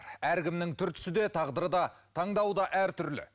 әркімнің түр түсі де тағдыры да таңдауы да әртүрлі